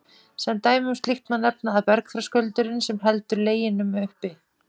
Sem dæmi um slíkt má nefna að bergþröskuldurinn, sem heldur uppi Leginum á